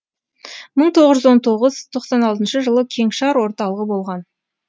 мың тоғыз жүз он тоғыз тоқсан алтыншы жылы кеңшар орталығы болған